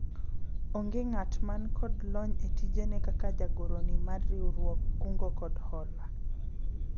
onge ng'at man kod lony e tijene kaka jagoro ni mar riwruog kungo kod hola